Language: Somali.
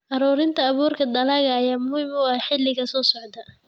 Ururinta abuurka dalagga ayaa muhiim u ah xilliga soo socda.